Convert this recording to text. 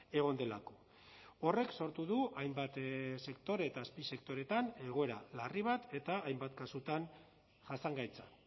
egon delako horrek sortu du hainbat sektore eta azpisektoretan egoera larri bat eta hainbat kasutan jasangaitza